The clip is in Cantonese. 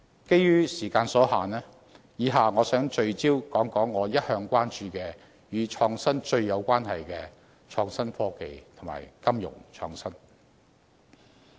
基於時間所限，以下我想聚焦談談我一向關注，與"創新"最有關係的創新科技及金融創新。